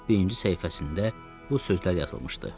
Lap birinci səhifəsində bu sözlər yazılmışdı: